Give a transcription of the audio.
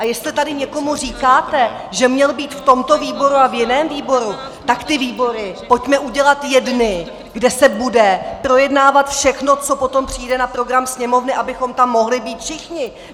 A jestli tady někomu říkáte, že měl být v tomto výboru a v jiném výboru, tak ty výbory pojďme udělat jedny, kde se bude projednávat všechno, co potom přijde na program Sněmovny, abychom tam mohli být všichni.